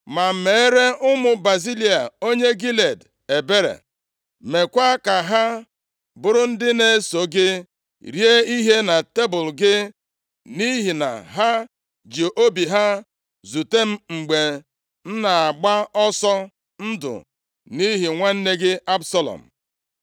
“Ma meere ụmụ Bazilai onye Gilead ebere. Meekwa ka ha bụrụ ndị na-eso gị rie ihe na tebul gị nʼihi na ha ji obi ha zute m mgbe m na-agba ọsọ ndụ nʼihi nwanne gị Absalọm.